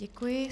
Děkuji.